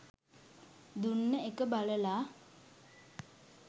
දුන්න එක බලලා